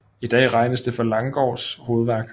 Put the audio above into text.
I dag regnes det for Langgaards hovedværk